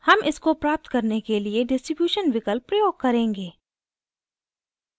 हम इसको प्राप्त करने के लिए distribution विकल्प प्रयोग करेंगे